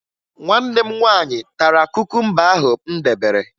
Nwanne m nwaanyị tara kukumba ahụ m debere